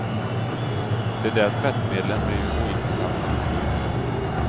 De där tvättmedlen blir ju ointressanta till slut.